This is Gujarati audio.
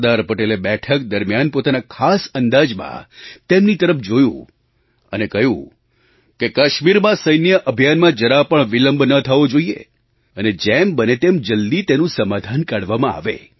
સરદાર પટેલે બેઠક દરમિયાન પોતાના ખાસ અંદાજમાં તેમની તરફ જોયું અને કહ્યું કે કાશ્મીરમાં સૈન્ય અભિયાનમાં જરા પણ વિલંબ ન થવો જોઈએ અને જેમ બને તેમ જલદી તેનું સમાધાન કાઢવામાં આવે